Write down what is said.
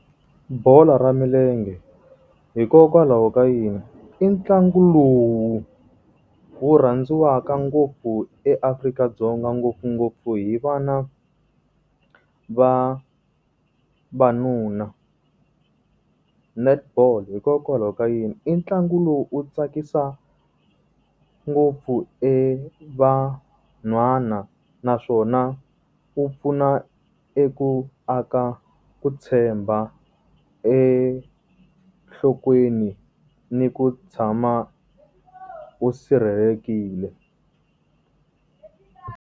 Bolo ra milenge. Hikokwalaho ka yini? I ntlangu lowu wu rhandziwaka ngopfu eAfrika-Dzonga ngopfungopfu hi vana va vanuna. Netball. Hikokwalaho ka yini? I ntlangu lowu u tsakisa ngopfu e vanhwana, naswona wu pfuna eku ku aka ku tshemba enhlokweni ni ku tshama u sirhelelekile.